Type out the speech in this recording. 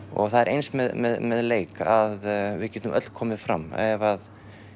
og það er eins með leik að við getum öll komið fram ef